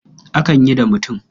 Akan yi da mutum.